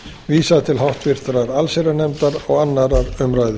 vísað til háttvirtrar allsherjarnefndar og annarrar umræðu